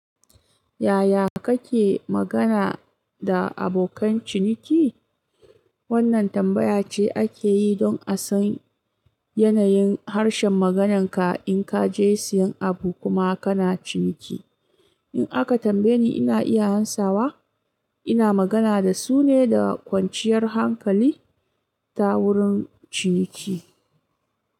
Yaya kake magana da abokan ciniki? Wannan tambaya ce ake yi don a san yanayin harshen magananka in ka je siyan abu kuma kana ciniki. In aka tambaye ni, ina iya amsawa, ina magana da su ne da kwanciyar hankali ta wurin ciniki.